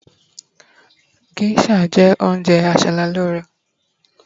geisha je ounjẹ asaralore